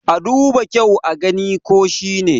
a duba kyau a gani ko shi ne!